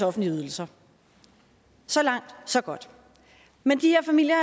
offentlige ydelser så langt så godt men de her familier